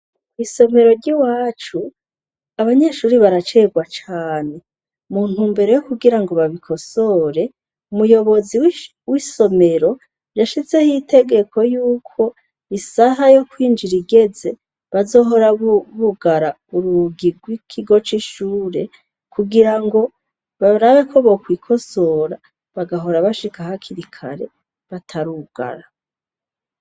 Isomero ry'iwacu abanyeshuri baracegwa cane mu ntumbero yokugirango babikosore, umuyobozi w'isomero yashizeho itegeko yuko isaha yokwinjira igeze bazohora bugara urugi gw'ikigo c'ishure kugirango barabeko bokwikosora bagahora bashika hakiri kare batarugara.